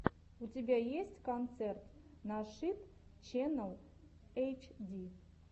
у тебя есть концерт нашид ченнал эйчди